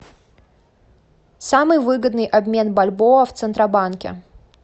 самый выгодный обмен бальбоа в центробанке